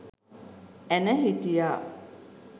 ඇණ හිටියා.